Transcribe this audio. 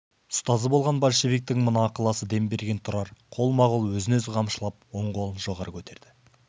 ұстазы болған большевиктің мына ықыласы дем берген тұрар қолма-қол өзін-өзі қамшылап он қолын жоғары көтерді